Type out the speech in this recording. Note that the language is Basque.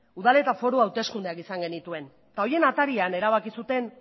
udal eta foru hauteskundeak izan genituen horien atarian erabaki zuten